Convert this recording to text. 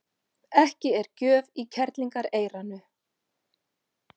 Ekki er gjöf í kerlingareyranu.